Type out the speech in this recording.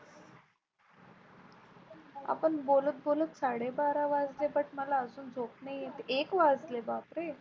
आपण बोलत बोलत साडे बारा वाजले But मला झोप नाही येत. एक वाजले बापरे.